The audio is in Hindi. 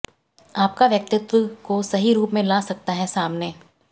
आपका व्यक्तित्व को सही रूप में ला सकता है सामने